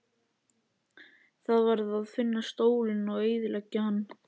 Það varð að finna stólinn og eyðileggja hann.